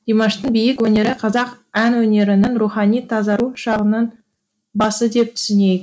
димаштың биік өнері қазақ ән өнерінің рухани тазару шағының басы деп түсінейік